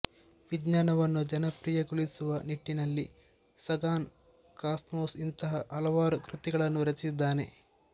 ವಿಜ್ಞಾನವನ್ನು ಜನಪ್ರಿಯಗೊಳಿಸುವ ನಿಟ್ಟಿನಲ್ಲಿ ಸಗಾನ್ ಕಾಸ್ಮೊಸ್ ನಂತಹ ಹಲವಾರು ಕೃತಿಗಳನ್ನು ರಚಿಸಿದ್ದಾನೆ